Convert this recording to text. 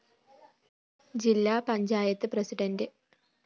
ജില്ലാ panchayat president A